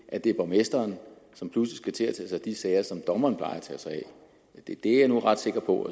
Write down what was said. at det er borgmesteren som nu skal til at tage sig af de sager som dommeren plejer at tage sig af det er jeg nu ret sikker på